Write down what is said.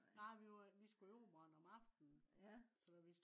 nej vi skulle i operaren om aften